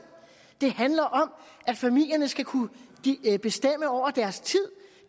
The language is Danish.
det handler om at familierne skal kunne bestemme over deres tid